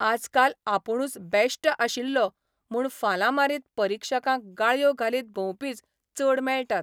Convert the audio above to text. आजकाल आपुणूच बॅश्ट आशिल्लों म्हूण फालां मारीत परिक्षकांक गाळयो घालीत भोंवपीच चड मेळटात...